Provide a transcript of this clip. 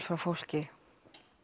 frá fólki